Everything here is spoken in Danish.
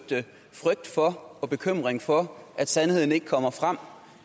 tak for og bekymring for at sandheden ikke kommer frem